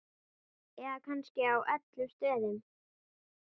Eða kannski á öllum stöðum?